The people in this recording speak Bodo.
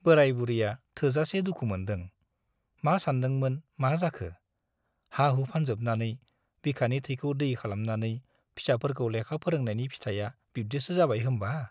बेराय बुरैया थोजासे दुखु मोनदों । मा सानदोंमोन , मा जाखो ? हा- हु फानजोबनानै , बिखानि थैखौ दै खालामनानै फिसाफोरखौ लेखा फोरोंनायनि फिथाइया बिब्दिसो जाबाय होम्बा !